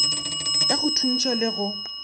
ya go thuntšha le go